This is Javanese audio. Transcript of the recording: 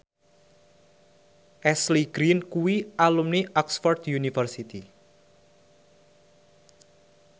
Ashley Greene kuwi alumni Oxford university